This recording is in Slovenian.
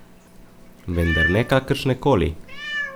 Vendar ne kakršne koli.